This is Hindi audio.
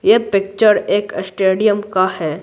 यह पिक्चर एक स्टेडियम का है।